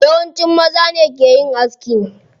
Yawanci maza ne ke yin aski.